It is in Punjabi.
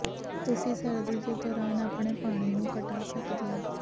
ਤੁਸੀਂ ਸਰਦੀ ਦੇ ਦੌਰਾਨ ਆਪਣੇ ਪਾਣੀ ਨੂੰ ਘਟਾ ਸਕਦੇ ਹੋ